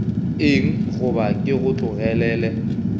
eng goba ke go tlogelele